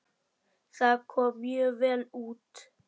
Það kom mjög vel út.